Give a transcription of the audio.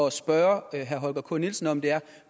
at spørge herre holger k nielsen om er